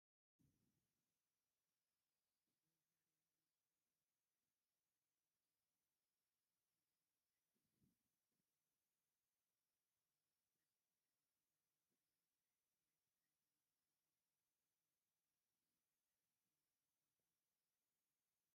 ብመሓሪ ዮሃንስ ገብሩ ዝተፅሓፈት ትግራይ ሎሚ ከ ናበይ? እትብል መፅሓፍ በዚሒተጋደልቲ ዘለው ኮይኖም ናይ ትግራይ ባንዴራ እውን ሒዞም ኣለው። እዛ ምፅሓፍ ብማዓዝ ዓ/ም ተፃሒፋ ይመስለኩም?